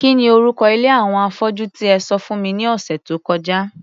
Kí ni orúko ilé àwọn afọ́jú tí e sọ fún mi ní ọ̀sẹ̀ tó kọjá?